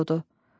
Ürək odu.